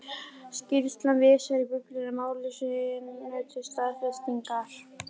Skýrslan vísar í Biblíuna máli sínu til staðfestingar.